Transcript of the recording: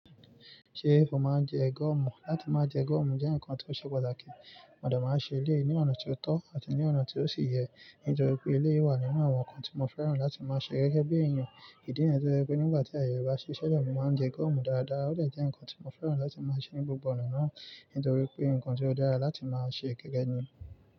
Ṣé ó máa ń jẹ gọ́ọ̀mù? Láti máa jẹ gọ́ọ̀mù jẹ́ nǹkan tí ó ṣe pàtàkì. Mo de máa ń ṣe eleyi ní ọ̀nà tí ó tọ́ àti ní ọ̀nà tí ó ṣi yẹ. Nítorí pé eleyii wà nínú àwọn nǹkan tí mo fẹ́ràn láti máa ṣe gẹ́gẹ́ bí èèyàn. Ìdí ǹiyẹn tó je wipe nígbà tí ayẹ bá ṣi si ile, mo máa ń jẹ gọ́ọ̀mù dáadáa. Ó dè jẹ́ nǹkan tí mo fẹ́ràn láti máa ṣe ní gbogbo ọ̀nà náà, nítorí pé nǹkan tí ó dára láti máa ṣe gẹ́gẹ́ ní.